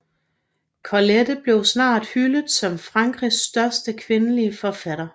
Colette blev snart hyldet som Frankrigs største kvindelige forfatter